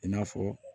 I n'a fɔ